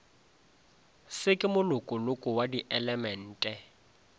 se ke molokoloko wa dielemente